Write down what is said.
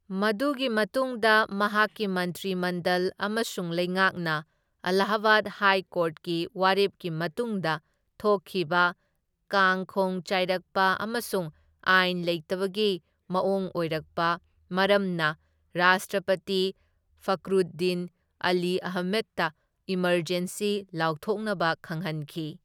ꯃꯗꯨꯒꯤ ꯃꯇꯨꯡꯗ ꯃꯍꯥꯛꯀꯤ ꯃꯟꯇ꯭ꯔꯤ ꯃꯟꯗꯜ ꯑꯃꯁꯨꯡ ꯂꯧꯉꯥꯛꯅ ꯑꯦꯂꯥꯍꯕꯥꯗ ꯍꯥꯏ ꯀꯣꯔꯠꯀꯤ ꯋꯥꯔꯦꯞꯀꯤ ꯃꯇꯨꯡꯗ ꯊꯣꯛꯈꯤꯕ ꯀꯥꯡ ꯈꯣꯡ ꯆꯥꯏꯔꯛꯄ ꯑꯃꯁꯨꯡ ꯑꯥꯏꯟ ꯂꯩꯇꯕꯒꯤ ꯃꯑꯣꯡ ꯑꯣꯏꯔꯛꯄ ꯃꯔꯝꯅ ꯔꯥꯁꯇ꯭ꯔꯄꯇꯤ ꯐꯈ꯭ꯔꯨꯗꯗꯤꯟ ꯑꯂꯤ ꯑꯍꯃꯦꯗꯇ ꯏꯃꯔꯖꯦꯟꯁꯤ ꯂꯥꯎꯊꯣꯛꯅꯕ ꯈꯪꯍꯟꯈꯤ꯫